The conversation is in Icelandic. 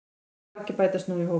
Margir bætast nú í hópinn